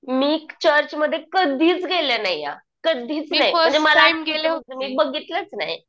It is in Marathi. मी चर्चमध्ये कधीच गेले नाही हं. कधीच नाही आणि मला बघितलंच नाही